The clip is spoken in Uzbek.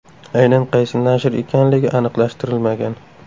Aynan qaysi nashr ekanligi aniqlashtirilmagan.